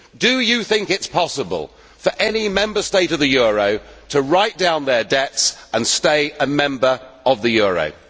Do you think it is possible for any Member State of the euro to write down their debts and stay a member of the eurozone?